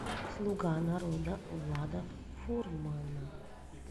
слуга народа влада фурмана